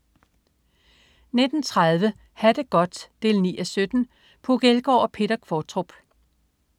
19.30 Ha' det godt 9:17. Puk Elgård og Peter Qvortrup